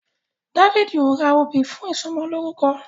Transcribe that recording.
Dáfídì o rà òbí fún ìsomo lórúko